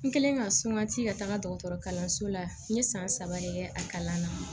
N kɛlen ka sumaci ka taga dɔgɔtɔrɔso la n ye san saba de kɛ a kalan na